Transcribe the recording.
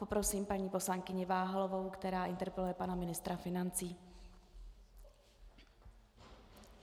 Poprosím paní poslankyni Váhalovou, která interpeluje pana ministra financí.